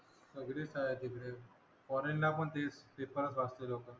गद्रे साहेब इथे पोरींना पण तेच पेपरच वाजता दोघं